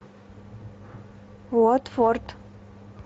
уотфорд